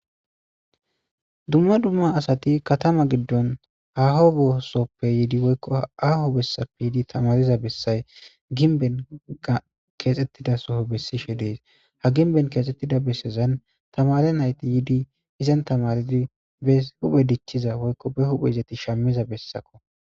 dumma dumma asati katama giddon haho bossoppe yiidi woykko aho bessappe yiidi tamariza bessay ginben keexxettida soho bessishe dees ha ginben keexxettida bessezan tamare nayti yiidi izan tamaridi be huphe dichchiza woykko be huphezetti shammiza bessakko